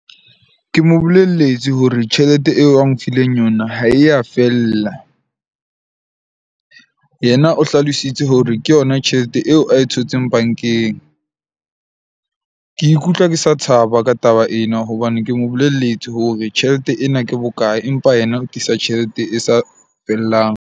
Ke mo bolelletswe hore tjhelete eo a nfileng yona, ha e ya fella. Yena o hlalositse hore ke yona tjhelete eo a e thotseng bank-eng. Ke ikutlwa ke sa thaba ka taba ena hobane ke mo bolelletswe hore tjhelete ena ke bokae, empa yena o ke tlisa tjhelete e sa fellang.